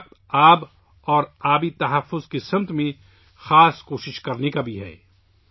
یہ وقت 'پانی' اور 'پانی کے تحفظ' کے لیے خصوصی کوششیں کرنے کا بھی ہے